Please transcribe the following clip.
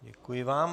Děkuji vám.